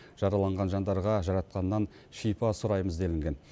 жараланған жандарға жаратқаннан шипа сұраймыз делінген